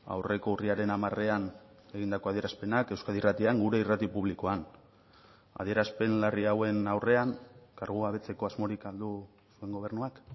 aurreko urriaren hamarean egindako adierazpenak euskadi irratian gure irrati publikoan adierazpen larri hauen aurrean kargugabetzeko asmorik du gobernuak